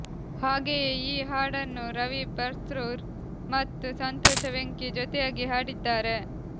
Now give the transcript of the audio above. ಹಾಗೆಯೇ ಈ ಹಾಡನ್ನು ರವಿ ಬಸ್ರೂರ್ ಮತ್ತು ಸಂತೋಷ ವೆಂಕಿ ಜೊತೆಯಾಗಿ ಹಾಡಿದ್ದಾರೆ